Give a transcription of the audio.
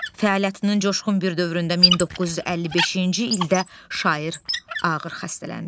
Fəaliyyətinin coşqun bir dövründə 1955-ci ildə şair ağır xəstələndi.